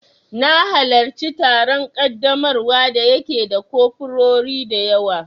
Na halarci taron ƙaddamarwa da ya ke da kofurori dayawa